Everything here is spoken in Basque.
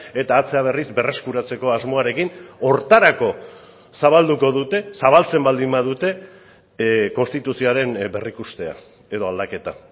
eta atzera berriz berreskuratzeko asmoarekin horretarako zabalduko dute zabaltzen baldin badute konstituzioaren berrikustea edo aldaketa